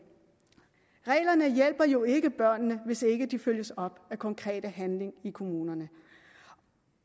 reglerne hjælper jo ikke børnene hvis ikke de følges op af konkret handling i kommunerne